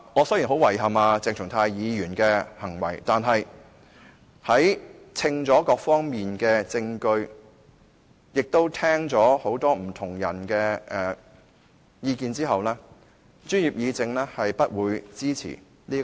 雖然我對鄭松泰議員的行為感到很遺憾，但在權衡各方面的證據，以及聆聽過不同人士的意見後，專業議政是不會支持這項動議的。